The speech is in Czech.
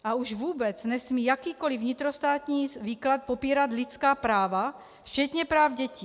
A už vůbec nesmí jakýkoli vnitrostátní výklad popírat lidská práva včetně práv dětí.